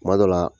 Kuma dɔ la